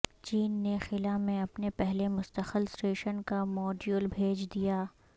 چین نے خلا میں اپنے پہلے مستقل اسٹیشن کا موڈیول بھیج دیا